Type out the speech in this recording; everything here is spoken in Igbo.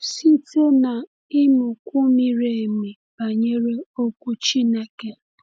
Site n’ịmụkwu miri emi banyere Okwu Chineke.